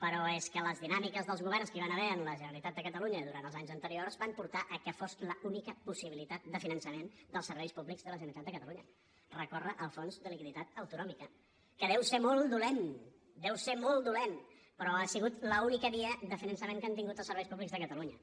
però és que les dinàmiques dels governs que hi van haver en la generalitat de catalunya durant els anys anteriors van portar a que fos l’única possibilitat de finançament dels serveis públics de la generalitat de catalunya recórrer al fons de liquiditat autonòmic que deu ser molt dolent deu ser molt dolent però ha sigut l’única via de finançament que han tingut els serveis públics de catalunya